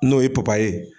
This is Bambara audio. N'o ye ye